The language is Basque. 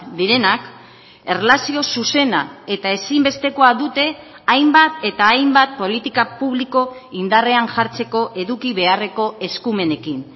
direnak erlazio zuzena eta ezinbestekoa dute hainbat eta hainbat politika publiko indarrean jartzeko eduki beharreko eskumenekin